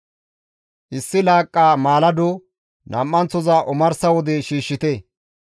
Issi laaqqa maalado nam7anththoza omarsa wode shiishshite.